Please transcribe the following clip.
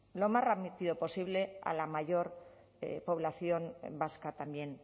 lo más rápido posible a la mayor población vasca también